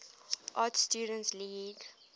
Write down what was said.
art students league